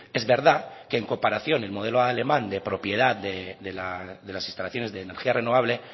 es verdad que en comparación el modelo alemán de propiedad de las instalaciones de energía renovable